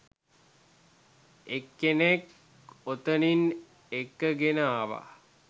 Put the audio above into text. එක්කෙනෙක් ඔතනින් එක්කගෙන ආවා.